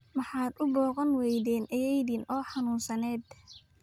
Maxaad u booqan weyden ayeeyadinaa oo xanunsaned